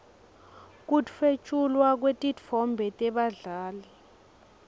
kutfwetjulwa kwetitfombe tebadlali